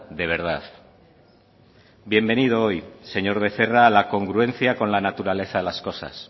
de verdad bienvenido hoy señor becerra a la congruencia con la naturaleza de las cosas